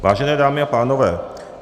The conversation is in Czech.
Vážené dámy a pánové.